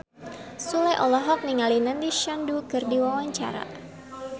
Sule olohok ningali Nandish Sandhu keur diwawancara